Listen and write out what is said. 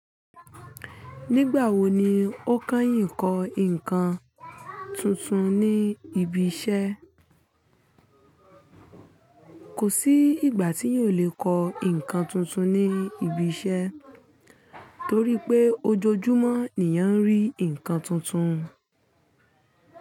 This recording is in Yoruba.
Nígbà wo ni o kányìn kọ ǹkan tuntun ní ibi iṣẹ́? Kò sí ìgbà tí eeyan o lè kọ ǹkan tuntun ní ibi iṣẹ́ torí pé ojoojúmọ́ ni eeyan ń rí ǹkan tuntun.